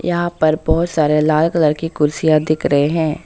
यहां पर बहुत सारे लाल कलर के कुर्सियां दिख रहे हैं।